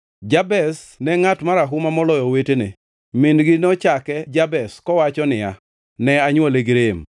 Jabez ne ngʼat marahuma moloyo owetene. Min-gi nochake Jabez, kowacho niya, “Ne anywole gi rem.”